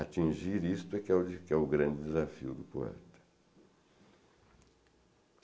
Atingir isto que é que é o grande desafio do poeta.